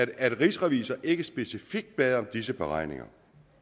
at rigsrevisor ikke specifikt bad om disse beregninger